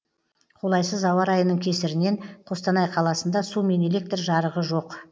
қолайсыз ауа райының кесірінен қостанай қаласында су мен электр жарығы жоқ